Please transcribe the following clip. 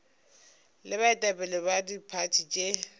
le baetapele ba diphathi tše